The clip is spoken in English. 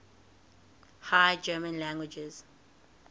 high german languages